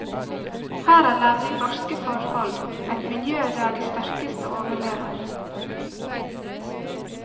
Her er nemlig barske forhold, et miljø der de sterkeste overlever.